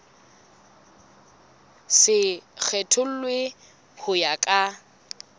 se kgethollwe ho ya ka